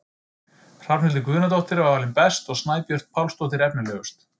Hrafnhildur Guðnadóttir var valin best og Snæbjört Pálsdóttir efnilegust.